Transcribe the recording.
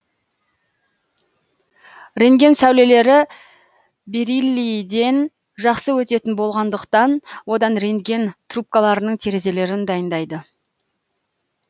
рентген сәулелері бериллийден жақсы өтетін болғандықтан одан рентген трубкаларының терезелерін дайындайды